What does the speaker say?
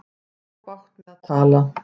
Hún á bágt með að tala.